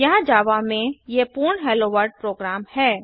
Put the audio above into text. यहाँ जावा में ये पूर्ण हेलोवर्ल्ड प्रोग्राम हैं